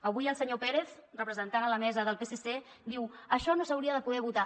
avui el senyor pérez representant a la mesa del psc diu això no s’hauria de poder votar